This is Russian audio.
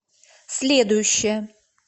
следующая